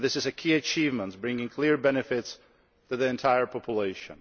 This is a key achievement, bringing clear benefits to the entire population.